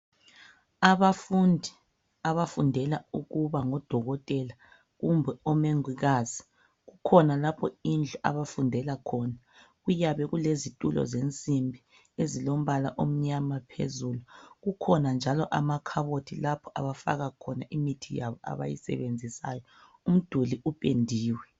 Abafundi abafundela ukuba ngodokotela kumbe omongikazi. Kukhona lapho indlu abafundela khona Kuyabe kulezitulo zensimbi ezilombala omnyama phezulu .Kukhona njalo amakhabothi lapho abafaka khona imithi yabo abayisebenzisayo . Umduli upendiwe .